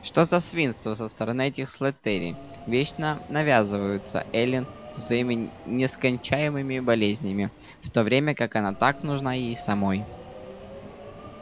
что за свинство со стороны этих слэттери вечно навязываться эллин со своими нескончаемыми болезнями в то время как она так нужна ей самой